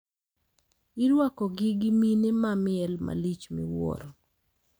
Irwakogi gi mine ma miel malich miwuoro.